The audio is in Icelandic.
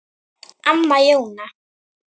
Amma Jóna.